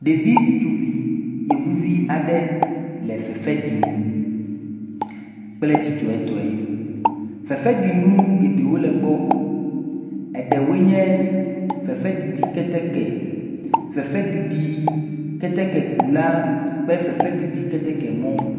Ɖevi ŋutsuvi yevuvi aɖe le fefe ɖim kple dzidzɔtɔe. Fefeɖinu geɖewo le egbɔ eɖewoe nye fefeɖiɖi keteke, fefeɖiɖi ketekekula kple fefeɖiɖi ketekemɔ.